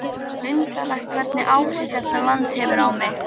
Undarlegt hvernig áhrif þetta land hefur á mig.